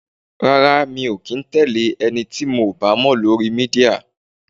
Rárá, mi ò kì í tẹle ẹni tí mò bá mọ lórí Mídíà.